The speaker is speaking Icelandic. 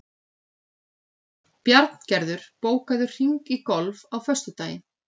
Bjarngerður, bókaðu hring í golf á föstudaginn.